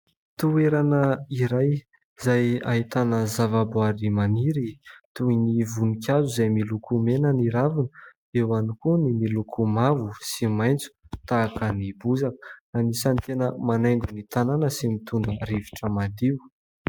Toerana iray izay ahitana zava-boahary maniry toy ny voninkazo izay miloko mena ny raviny, eo ihany koa ny miloko mavo sy maitso tahaka ny bozaka. Anisan'ny tena manaingo ny tanàna sy mitondra rivotra madio.